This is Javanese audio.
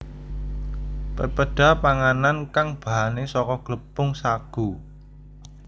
Pepeda pangan kang bahane saka glepung sagu